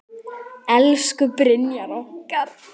Elsku Brynjar okkar.